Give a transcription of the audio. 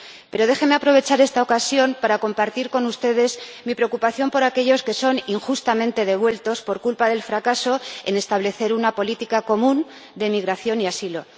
Pero déjenme aprovechar esta ocasión para compartir con ustedes mi preocupación por aquellos que son injustamente devueltos, por culpa del fracaso al establecer una política común de migración y asilo.